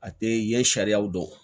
A tɛ i ye sariya dɔn